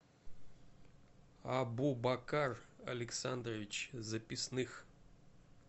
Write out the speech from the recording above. абубакар александрович записных